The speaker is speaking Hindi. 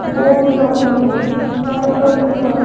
बोर्ड लगा हैं नर्सरी का --